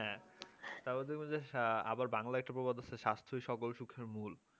হ্যাঁ তা বাদে আবার বাংলাতেও একটা প্রবাদ আছে স্বাস্থ্যই সকল সুখের মূল